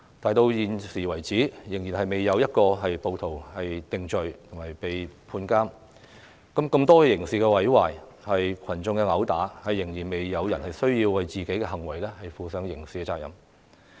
直到現時為止，仍然未有一名暴徒被定罪判監，仍然未有人為多項刑事毀壞和群眾毆鬥等行為負上刑責。